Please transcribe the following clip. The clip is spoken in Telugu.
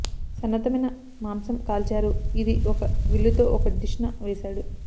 సన్నద్ధమైన మాంసం కాల్చారు ఇది ఒక విల్లు తో ఒక డిష్ న వేశాడు